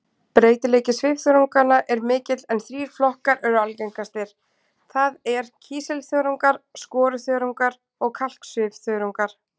Breytileiki svifþörunganna er mikill en þrír flokkar eru algengastir, það er kísilþörungar, skoruþörungar og kalksvifþörungar.